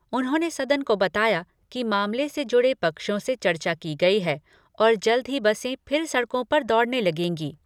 उन्होंने सदन को बताया कि मामले से जुड़े पक्षों से चर्चा की गई है और जल्द ही बसें फिर सड़कों पर दौड़ने लगेंगी।